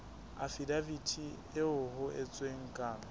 afidaviti eo ho entsweng kano